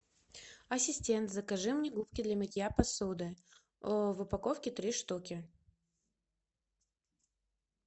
ассистент закажи мне губки для мытья посуды в упаковке три штуки